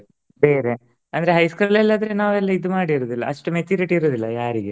ಬೇರೆ ಅಂದ್ರೆ high school ಅಲ್ ಆದ್ರೆ ನಾವ್ ಅಲ್ಲಿ ಇದ್ ಮಾಡಿರೋದಿಲ್ಲ ಅಷ್ಟು maturity ಇರೋದಿಲ್ಲ ಯಾರಿಗೆ.